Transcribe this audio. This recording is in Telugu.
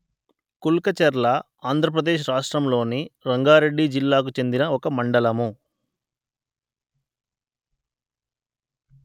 కుల్కచర్ల ఆంధ్ర ప్రదేశ్ రాష్ట్రములోని రంగారెడ్డి జిల్లాకు చెందిన ఒక మండలము